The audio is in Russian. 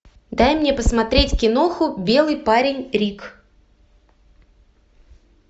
дай мне посмотреть киноху белый парень рик